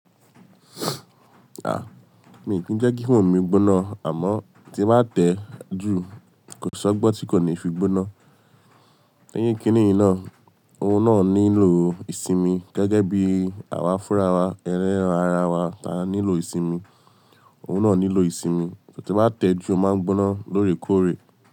Ah, mi ò kí ń jẹ́ kí foonu mi gbóná àmọ́ tí ba tẹ́ jù kò ṣọ́gbọ́n tí kò ní fi gbóná. Níyín kíni inú iná, ohun náà nílò ìsinmi gẹ́gẹ́ bí àwa fúnra wa, ẹran ara wa ta nílò ìsinmi, ohun náà nílò ìsinmi. So tí máa tẹ́ jù, ó máa ń gbóná lóòrèkóòrè.